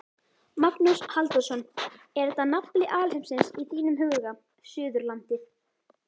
Magnús Halldórsson: Er þetta nafli alheimsins í þínum huga, Suðurlandið?